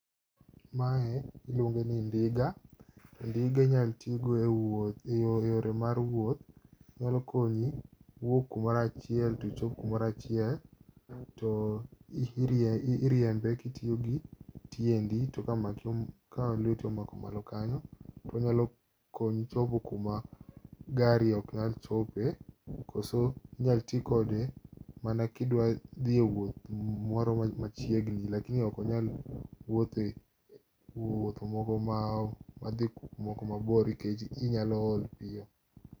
Mae iluonge ni ndiga, ndiga inyaltigo e wuoth e yore mar wuoth. Nyalo konyi wuok kumorachiel tichop kumorachiel, to iriembe kitiyogi tiendi to ka maki ka lweti omako malo kanyo. To onyalo konyi chopo kuma gari ok nyal chope, koso inyal ti kode mana kidwa dhi wuoth moro machiegni. Lakini okonyal wuothe wuoth moko madhi kumoko mabor nikech inyalo ol piyo.